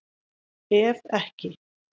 Ef ekki